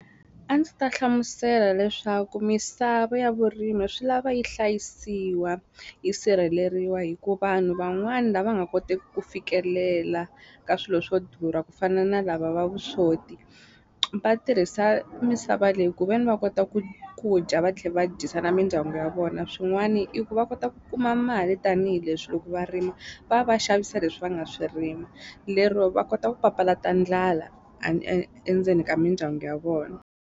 A ndzi ta hlamusela leswaku misava ya vurimi swi lava yi hlayisiwa yi sirheleriwa hi ku vanhu van'wani lava nga koteki ku fikelela ka swilo swo durha ku fana na lava va vuswoti va tirhisa misava leyi kuveni va kota ku ku dya va tlhela va dyisa na mindyangu ya vona swin'wani i ku va kota ku kuma mali tanihileswi loko va rimi va va xavisa leswi va nga swi rima lero va kota ku papalata ndlala endzeni ka mindyangu ya vona.